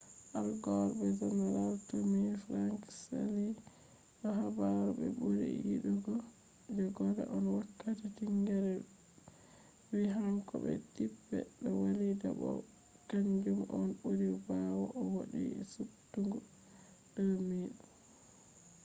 al gore be general tommy franks jali do habaru be buri yidugo je gore on wakkati tingere vi hanko be tipper do walida bo kanjum on buri bawo o do’i subtugo je 2000